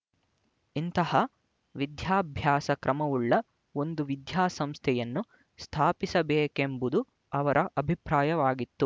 ಇಂತಹ ವಿದ್ಯಾಭ್ಯಾಸಕ್ರಮವುಳ್ಳ ಒಂದು ವಿದ್ಯಾಸಂಸ್ಥೆಯನ್ನು ಸ್ಥಾಪಿಸಬೇಕೆಂಬುದು ಅವರ ಅಭಿಪ್ರಾಯವಾಗಿತ್ತು